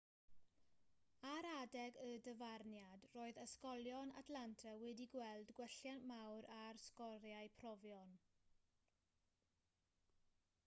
ar adeg y dyfarniad roedd ysgolion atlanta wedi gweld gwelliant mawr ar sgoriau profion